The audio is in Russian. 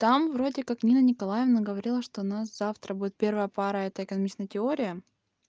там вроде как нина николаевна говорила что у нас завтра будет первая пара это экономичная теория